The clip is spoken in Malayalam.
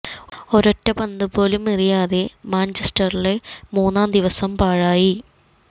ഒരൊറ്റ പന്ത് പോലും എറിയാതെ മാഞ്ചസ്റ്ററിലെ മൂന്നാം ദിവസം പാഴായി